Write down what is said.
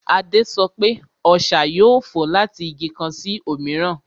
Adé sọ pé, Ọṣà yóò fò láti Igi kan sí òmíràn